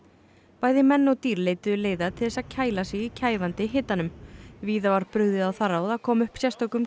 bæði menn og dýr leituðu leiða til þess að kæla sig í kæfandi hitanum víða var brugðið á það ráð að koma upp sérstökum